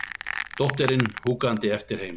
Dóttirin húkandi eftir heima.